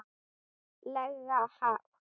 lega hátt.